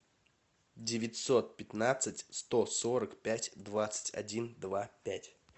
девятьсот пятнадцать сто сорок пять двадцать один два пять